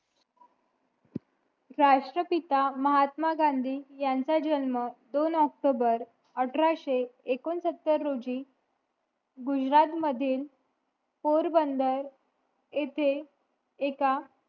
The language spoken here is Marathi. राष्ट्रपिता महात्मा गांधी ह्यांचा जन्म दोन ऑक्टोबर अठराशे एकोणसतर रोजी गुजरात मधील पोरबंदर येथे एका